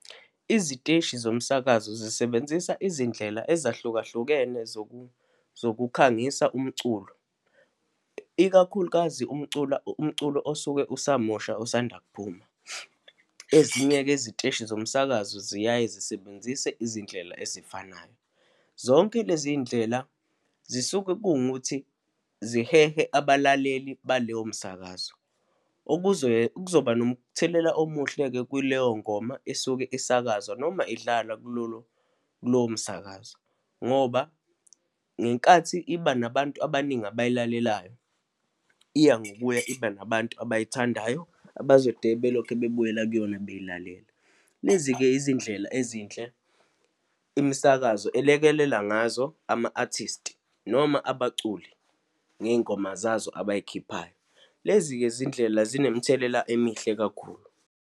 Iziteshi zomsakazo zisebenzisa izindlela ezahlukahlukene zokukhangisa umculo, ikakhulukazi umcula, umculo osuke usamusha osanda kuphuma. Ezinye-ke iziteshi zomsakazo ziyaye zisebenzise izindlela ezifanayo. Zonke lezindlela zisuke kungukuthi zihehe abalaleli baleyo msakazo, okuze kuzoba nomthelela omuhle kuleyo ngoma esuke isakazwa noma idlalwa kulolo, kulowo msakazo. Ngoba ngenkathi iba nabantu abaningi abayilalelayo, iya ngokuya iba nabantu abayithandayo, abazode belokhe bebuyela kuyona beyilalela. Lezi-ke izindlela ezinhle imisakazo elekelela ngazo ama-artist noma abaculi ngey'ngoma zazo abayikhiphayo. Lezi-ke zindlela zinemithelela emihle kakhulu.